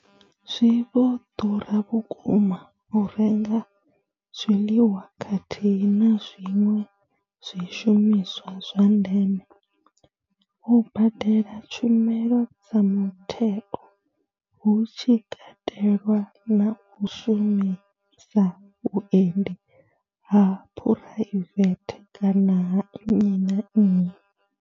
Zwi vho ḓura vhukuma u renga zwiḽiwa khathihi na zwiṅwe zwishumiswa zwa ndeme, u badela tshumelo dza mutheo hu tshi katelwa na u shumisa vhuendi ha phuraivethe kana ha nnyi na nnyi.